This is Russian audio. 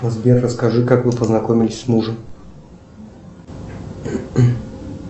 сбер расскажи как вы познакомились с мужем